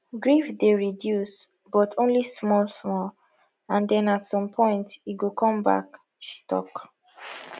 grief dey reduce but only small small and den at some point e go come back she tok